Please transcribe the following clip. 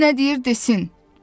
Qoy nə deyir desin.